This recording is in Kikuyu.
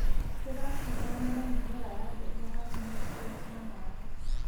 rĩracindana na mĩmera ya mbembe harĩ niutrienti na maĩ.